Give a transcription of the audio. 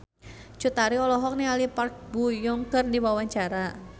Cut Tari olohok ningali Park Bo Yung keur diwawancara